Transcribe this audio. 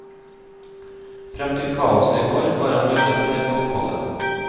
Frem til kaoset i går var han veldig fornøyd med oppholdet.